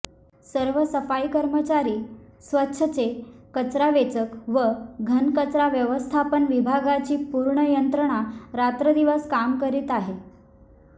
सर्व सफाई कर्मचारी स्वच्छचे कचरावेचक व घनकचरा व्यवस्थापन विभागाची पूर्ण यंत्रणा रात्रदिवस काम करीत आहे